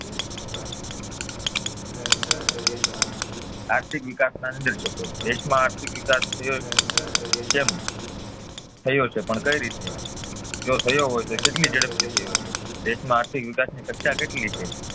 આર્થિક વિકાસ ના નિર્દશકો દેખમાં આર્થિક વિકાસ થયો છે પણ કઈ રીતે, જો થયો હોય તો એ કેટલી ઝડપથી થયો છે, દેશમાં આર્થિક વિકાસ ની ચર્ચા કેટલી છે